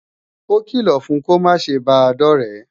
Ókìlọ̀ fun kó máa ṣe bàa dọ̀ré!